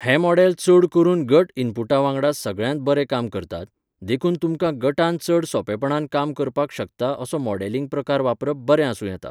हे मॉडेल चड करून गट इनपुटा वांगडा सगळ्यांत बरे काम करतात, देखून तुमकां गटान चड सोंपेंपणान काम करपाक शकता असो मॉडेलिंग प्रकार वापरप बरे आसूं येता.